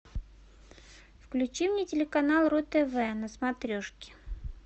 включи мне телеканал ру тв на смотрешке